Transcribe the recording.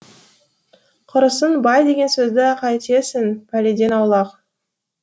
құрысын бай деген сөзді қайтесің пәледен аулақ